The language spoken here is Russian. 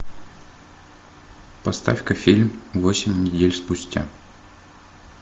поставь ка фильм восемь недель спустя